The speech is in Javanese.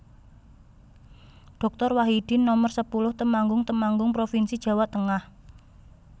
Doktor Wahidin Nomer sepuluh Temanggung Temanggung provinsi Jawa Tengah